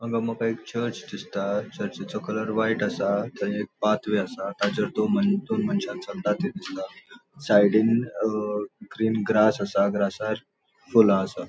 हांगा मका एक चर्च दिसता चर्चिचो कलर व्हाइट असा ताचेर पाथवे असा. ताचेर दोन मन दोन मनशा चलतां थे दिसता साइडीन अ ग्रीन ग्रास असा ग्रासार फूला असा.